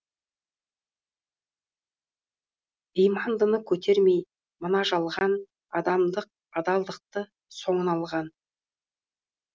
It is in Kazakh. имандыны көтермей мына жалған адамдық адалдықты соңына алған